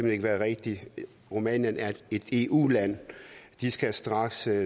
ikke være rigtigt rumænien er et eu land de skal straks